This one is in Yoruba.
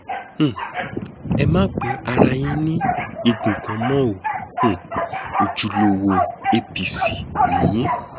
um ẹ má pe ara yín ní igun kan mọ o um ojúlówó apc ni yín